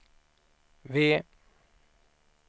V